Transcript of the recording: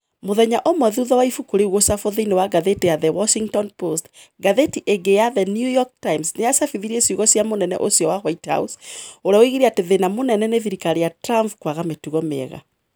Mũthenya ũmwe thutha wa ibuku rĩu gũcabwo thĩinĩ wa ngathĩti ya The Washington Post, ngathĩti ĩngĩ ya The New York Times nĩ yacabithirie ciugo cia mũnene ũmwe wa White House, ũrĩa woigire atĩ thĩna mũnene wa thirikari ya Trump nĩ kwaga 'mĩtugo mĩega.'